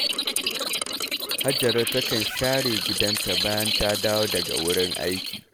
Hajara takan share gidanta bayan ta dawo daga wurin aiki